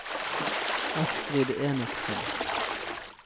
Astrid Enoksen